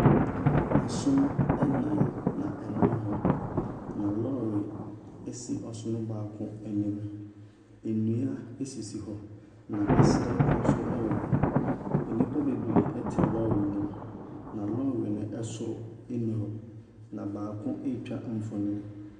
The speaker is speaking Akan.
Asono anan ɛna ɛnam hɔ. Na lɔre asi ɔsono baako anim. Nnua asisi hɔ na ɛserɛ nso ɛwɔ hɔ. Nnipa bebree ɛte lɔre ne mu na lɔre no ɛsoro ani hɔ. Na baako atwa mfonyini.